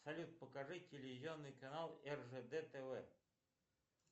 салют покажи телевизионный канал ржд тв